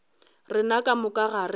rena ka moka ga rena